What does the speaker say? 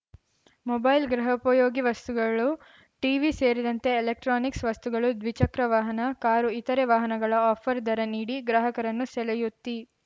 mobile ಗೃಹೋಪಯೋಗಿ ವಸ್ತುಗಳು TV ಸೇರಿದಂತೆ ಎಲೆಕ್ಟ್ರಾನಿಕ್ಸ್‌ ವಸ್ತುಗಳು ದ್ವಿಚಕ್ರ ವಾಹನ ಕಾರು ಇತರೆ ವಾಹನಗಳ ಆಫರ್‌ ದರ ನೀಡಿ ಗ್ರಾಹಕರನ್ನು ಸೆಳೆಯುತ್ತಿ